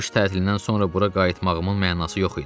Qış tətilindən sonra bura qayıtmağımın mənası yox idi.